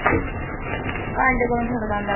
ਭਾਂਡੇ ਕੋਣ ਖੜਕਾਉਂਦਾ ਪਿਆ?